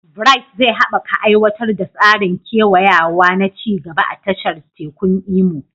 Bright zai haɓaka aiwatar da tsarin kewayawa na ci gaba a tashar tekun Imo.